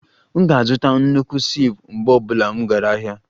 M ga-azụta nnukwu sieve mgbe ọ bụla m gara ahịa